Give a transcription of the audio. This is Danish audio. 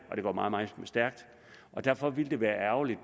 og det går meget meget stærkt derfor ville det være ærgerligt